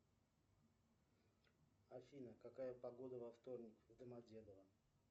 афина какая погода во вторник в домодедово